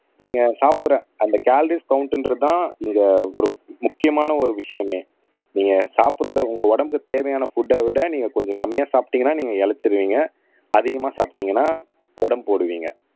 நீங்க சாப்பிடுற அந்த கலோரிஸ் கவுண்ட்ன்றதுதான் இங்க ஒரு முக்கியமான ஒரு விஷயமே நீங்க சாப்பிடறதை உங்க உடம்புக்கு தேவையான புட்ட விட நீங்க கொஞ்சம் கம்மியா சாப்பிட்டீங்கன்னா நீங்க இளைச்சிருவீங்க அதிகமா சாப்பிட்டீங்கன்னா உடம்பு போடுவீங்க